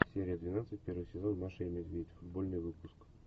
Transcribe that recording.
серия двенадцать первый сезон маша и медведь футбольный выпуск